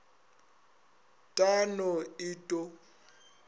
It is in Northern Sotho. t a no et o